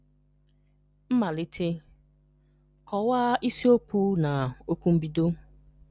Mmalite: Kọwaa isiokwu na okwu mbido.